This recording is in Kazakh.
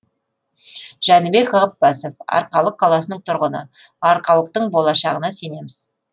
жәнібек ғаппасов арқалық қаласының тұрғыны арқалықтың болашағына сенеміз